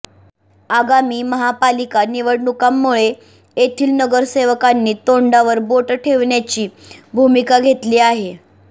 आगामी महापालिका निवडणुकांमुळे येथील नगरसेवकांनी तोंडावर बोट ठेवण्याची भूमिका घेतली आहे